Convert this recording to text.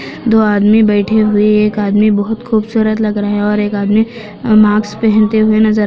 दो आदमी बैठे हुए एक आदमी बहुत खूबसूरत लग रहे है और एक आदमी मास्क पेहनते हुए नजर--